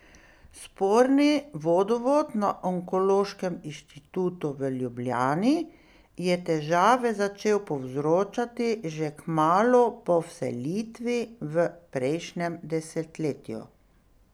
Sporni vodovod na onkološkem inštitutu v Ljubljani je težave začel povzročati že kmalu po vselitvi v prejšnjem desetletju.